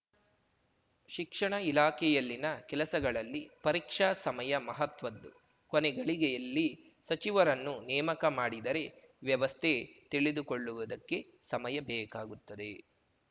ಶಿಕ್ಷಣ ಇಲಾಖೆಯಲ್ಲಿನ ಕೆಲಸಗಳಲ್ಲಿ ಪರೀಕ್ಷಾ ಸಮಯ ಮಹತ್ವದ್ದು ಕೊನೇ ಗಳಿಗೆಯಲ್ಲಿ ಸಚಿವರನ್ನು ನೇಮಕ ಮಾಡಿದರೆ ವ್ಯವಸ್ಥೆ ತಿಳಿದುಕೊಳ್ಳುವುದಕ್ಕೆ ಸಮಯ ಬೇಕಾಗುತ್ತದೆ